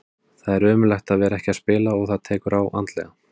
Það er ömurlegt að vera ekki að spila og það tekur á andlega.